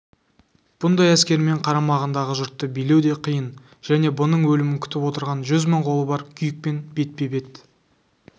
бұндай әскермен қарамағындағы жұртты билеу де қиын және бұның өлімін күтіп отырған жүз мың қолы бар күйікпен бетпе-бет